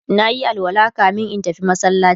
nayi alwala kamin in tafi masallaci